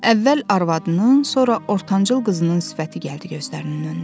Əvvəl arvadının, sonra ortancıl qızının sifəti gəldi gözlərinin önünə.